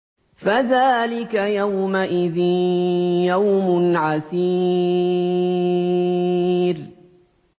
فَذَٰلِكَ يَوْمَئِذٍ يَوْمٌ عَسِيرٌ